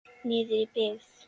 Niður í byggð.